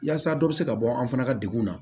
Yaasa dɔ be se ka bɔ an fana ka degun na